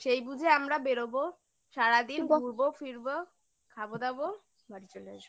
সেই বুঝে আমরা বেরোবো সারাদিন ঘুরবো ফিরব খাবো দাবো বাড়ি চলে আসবো